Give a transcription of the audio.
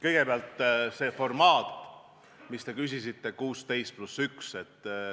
Kõigepealt sellest formaadist, mille kohta te küsisite, 16 + 1.